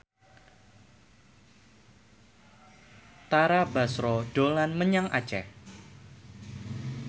Tara Basro dolan menyang Aceh